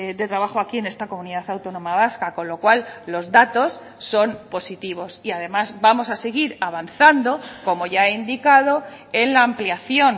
de trabajo aquí en esta comunidad autónoma vasca con lo cual los datos son positivos y además vamos a seguir avanzando como ya he indicado en la ampliación